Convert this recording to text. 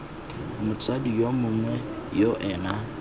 motsadi yo mongwe yo ena